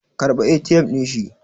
karɓa ATM din shi